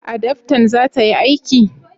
adaftan za ta yi aiki?